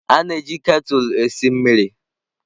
A na-eji ketulụ eme mmiri esi mmiri.